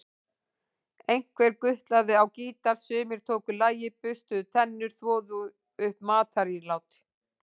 Einhver gutlaði á gítar, sumir tóku lagið, burstuðu tennur, þvoðu upp matarílát.